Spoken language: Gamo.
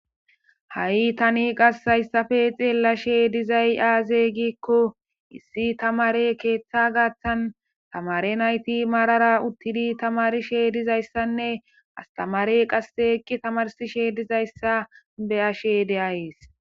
Ha7i qas tani xeellashe dizay aazee giikko issi tamaare keeththa gaathan tamaare nayti maara uttidi tammarishe dizaysanne astamaarey qasse eqqi tamarsishe dizaysa be7ashe de7ays.